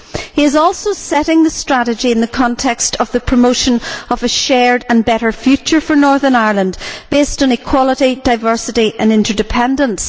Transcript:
He is also setting the strategy in the context of the promotion of a shared and better future for Northern Ireland based on equality, diversity and interdependence.